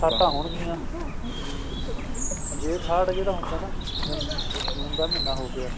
ਬਰਸਾਤ ਹੋਣਗੀਆਂ ਹਮ ਜੇਠ ਹਾੜ੍ਹ ਜਿਹੜਾ ਹੁੰਦਾ ਐ ਨਾ ਜ ਜ ਜੂਨ ਦਾ ਮਹੀਨਾ ਹੋ ਗਿਆ